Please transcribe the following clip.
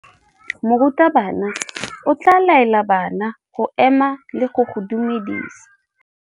Morutabana o tla laela bana go ema le go go dumedisa.